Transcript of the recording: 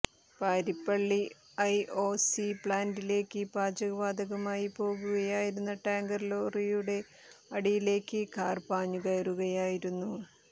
Parippally I O C പ്ലാന്റിലേക്ക് പാചക വാതകവുമായി പോകുകയായിരുന്ന ടാങ്കര് ലോറിയുടെ അടിയിലേക്ക് കാര് പാഞ്ഞുകയറുകയായിരുന്നു